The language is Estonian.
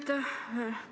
Aitäh!